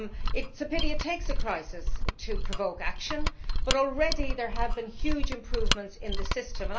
It is a pity it takes a crisis to provoke action, but already there have been huge improvements in the system.